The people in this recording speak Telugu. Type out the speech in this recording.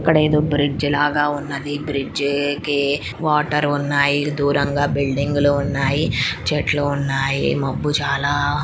ఇక్కడ ఏదో బ్రిడ్జ్ లాగా ఉన్నది ఈ బ్రిడ్జికి వాటర్ ఉన్నాయి దూరంగా బిల్డింగ్ లు ఉన్నాయి చెట్లు ఉన్నాయి మబ్బు చాలా --